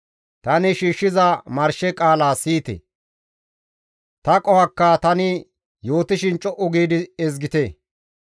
Tani shiishshiza marshe qaala siyite; ta qohokka tani yootishin co7u giidi ezgite.